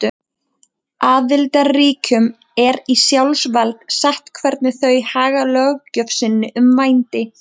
Aðildarríkjunum er í sjálfsvald sett hvernig þau haga löggjöf sinni um vændi.